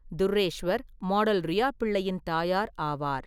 துர்ரேஷ்வர் model Riya பிள்ளையின் தாயார் ஆவார்.